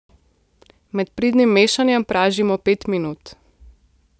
Med pridnim mešanjem pražimo pet minut.